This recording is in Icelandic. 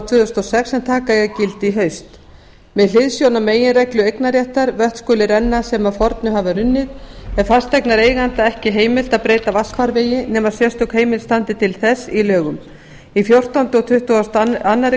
tvö þúsund og sex sem taka eiga gildi í haust með hliðsjón af meginreglu eignarréttar vötn skulu renna sem að fornu hafa runnið er fasteignareiganda ekki heimilt að breyta vatnsfarvegi nema sérstök heimild standi til þess í lögum í fjórtánda og tuttugasta og aðra